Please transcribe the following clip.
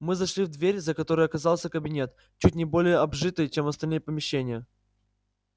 мы зашли в дверь за которой оказался кабинет чуть не более обжитый чем остальные помещения